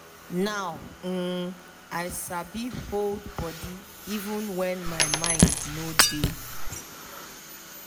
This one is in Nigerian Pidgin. now um i sabi hold body even when my mind no dey